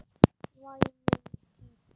Væmin típa.